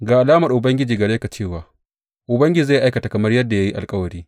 Ga alamar Ubangiji gare ka cewa Ubangiji zai aikata kamar yadda ya yi alkawari.